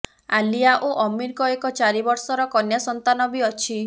ଆଲିଆ ଓ ଅମିରଙ୍କ ଏକ ଚାରି ବର୍ଷର କନ୍ୟା ସନ୍ତାନ ବି ଅଛି